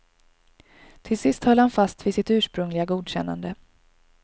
Till sist höll han fast vid sitt ursprungliga godkännande.